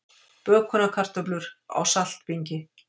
Bökunarkartöflur á saltbingi